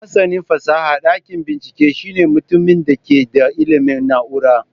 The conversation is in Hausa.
Masanin fasahar dakin bincike shine mutumin da ke da ilimin na'urar.